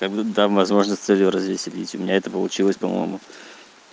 как бы дам возможность с целью развеселить у меня это получилось по-моему